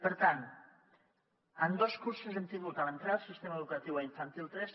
per tant en dos cursos hem tingut en l’entrada del sistema educatiu a infantil tres